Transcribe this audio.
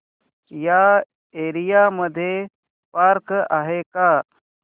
या एरिया मध्ये पार्क आहे का